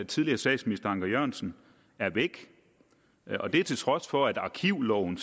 tidligere statsminister anker jørgensen er blevet væk og det til trods for at arkivloven